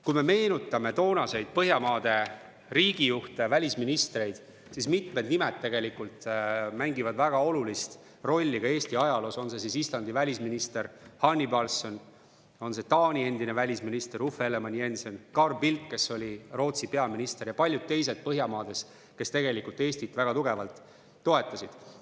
Kui me meenutame toonaseid Põhjamaade riigijuhte, välisministreid, siis mitmed nimed tegelikult mängivad väga olulist rolli ka Eesti ajaloos, olgu Islandi välisminister Hannibalsson, Taani endine välisminister Uffe Ellemann-Jensen või Carl Bildt, kes oli Rootsi peaminister, ja paljud teised Põhjamaades, kes tegelikult Eestit väga tugevalt toetasid.